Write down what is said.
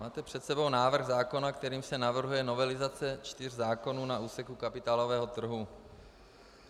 Máte před sebou návrh zákona, kterým se navrhuje novelizace čtyř zákonů na úseku kapitálového trhu.